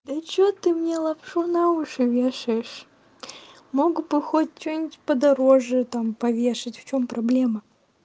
да что ты мне лапшу на уши вешаешь мог бы хоть что-нибудь подороже там повешать в чем проблема